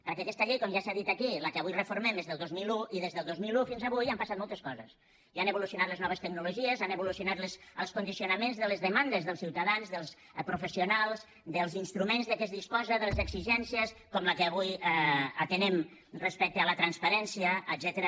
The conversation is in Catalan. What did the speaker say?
perquè aquesta llei com ja s’ha dit aquí la que avui reformem és del dos mil un i des del dos mil un fins avui han passat moltes coses i han evolucionat les noves tecnologies han evolucionat els condicionaments de les demandes dels ciutadans dels professionals dels instruments de què es disposen de les exigències com la que avui atenem respecte a la transparència etcètera